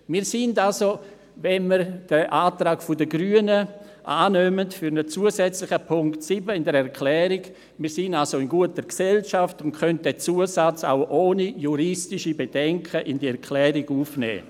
Wenn wir den Antrag der Grünen für einen zusätzlichen Punkt 7 in der Erklärung annehmen, sind wir also in guter Gesellschaft und können den Zusatz auch ohne juristische Bedenken in die Erklärung aufnehmen.